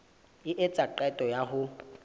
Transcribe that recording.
a etsa qeto ya ho